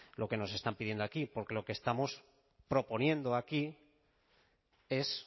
lo que nos están pidiendo aquí porque lo que estamos proponiendo aquí es